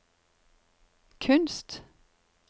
kunst